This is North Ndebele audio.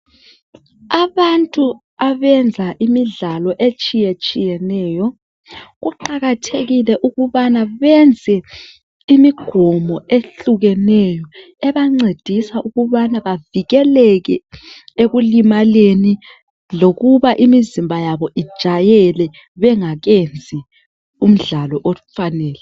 Abantu abenza imidlalo etshiye tshiyeneyo kuqakathekile ukubana benze imigomo ehlukeneyo ebancadisa ukubana bavikeleke ekulimaleni lokuba imizimba yabo i jayele bengakenzi umdlalo ofanele.